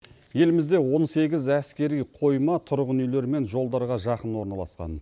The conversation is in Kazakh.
елімізде он сегіз әскери қойма тұрғын үйлер мен жолдарға жақын орналасқан